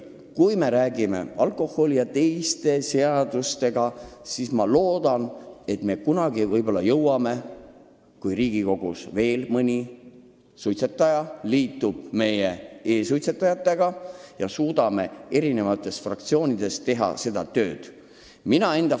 Kui me räägime alkoholi- ja muude aktsiiside seadusest, siis ma loodan, et kui Riigikogus veel mõni suitsetaja liitub praeguse kahe e-suitsetajaga, siis me suudame eri fraktsioonides veel seda teemat arutada.